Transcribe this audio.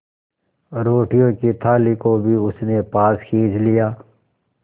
रोटियों की थाली को भी उसने पास खींच लिया